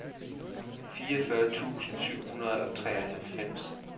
fireogfyrre tusind syv hundrede og treoghalvfems